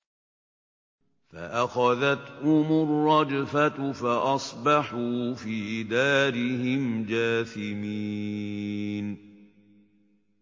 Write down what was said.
فَأَخَذَتْهُمُ الرَّجْفَةُ فَأَصْبَحُوا فِي دَارِهِمْ جَاثِمِينَ